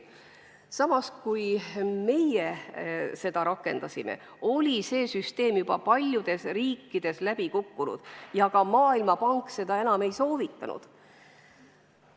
Samas, kui meie seda rakendama hakkasime, oli see süsteem juba paljudes riikides läbi kukkunud ja Maailmapank seda enam ei soovitanud.